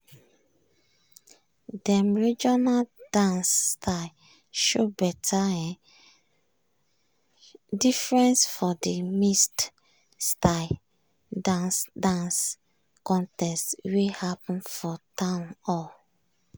dem regional dance style show better um difference for de mixed-styled dance dance contest wey happen for town hall.